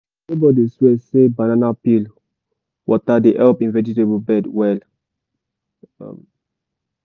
my neighbor dey swear say banana peel water dey help him vegetable bed well.